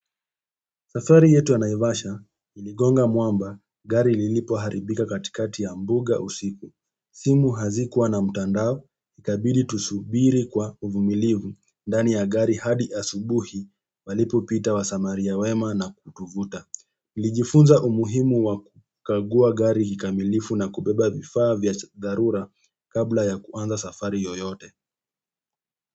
Safari yetu ya naivasha iligonga mwamba gari lilipo haribika katikati ya mbuga usiku simu hazikuwa na mtandao ikabidi tusubiri kwa uvumilivu ndani ya gari hadi asubuhi walipo pita wa samaria wema na kutuvuta nilijifunza umuhimu wa kukagua gari kikamilifu na kubeba vifaa vya dharura kabla ya kuanza safari yoyote.